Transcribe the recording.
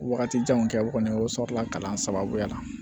Wagatijanw kɛ o kɔni o sɔrɔla kalan sababuya la